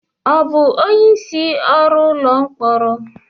Ọ bụ onye isí ọrụ ụlọ mkpọrọ?